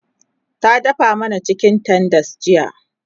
ta dafa mana chicken tenders jiya